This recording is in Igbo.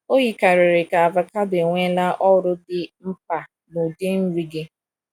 O yikarịrị ka avocado enweela ọrụ dị mkpa n’ụdị nri gị.